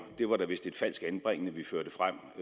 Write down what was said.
det var vist et falsk anbringende vi førte frem